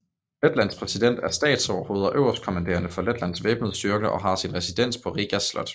Letlands præsident er statsoverhoved og øverstkommanderende for Letlands væbnede styrker og har sin residens på Rigas Slot